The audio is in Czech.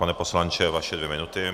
Pane poslanče, vaše dvě minuty.